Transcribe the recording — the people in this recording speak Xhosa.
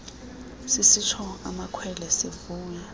sisitsho amakhwelo sivuya